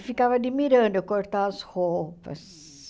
E ficava admirando eu cortar as roupas.